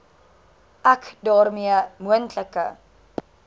ek daarmee moontlike